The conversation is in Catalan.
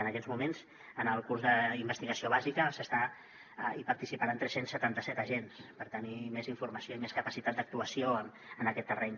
en aquests moments en el curs d’investigació bàsica hi participaran tres cents i setanta set agents per tenir més informació i més capacitat d’actuació en aquest terreny